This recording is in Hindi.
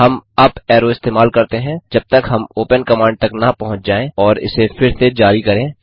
हम अप एरो इस्तेमाल करते हैं जब तक हम ओपन कमांड तक न पहुँच जाएँ और इसे फिर से जारी करें